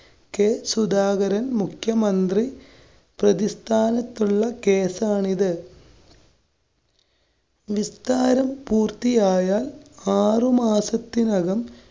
K Sudhakaran‍, മുഖ്യമന്ത്രി പ്രതിസ്ഥാനത്തുള്ള കേസാണിത്. വിസ്താരം പൂര്‍ത്തിയായാല്‍ ആറുമാസത്തിനകം.